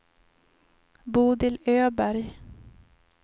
Bodil Öberg